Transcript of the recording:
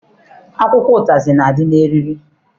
Akwụkwọ ụtazị na-adị n'eriri.